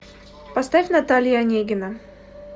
поставь наталья онегина